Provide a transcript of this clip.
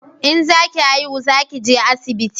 In za ki haihu za ki je asibiti